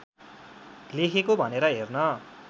लेखेको भनेर हेर्न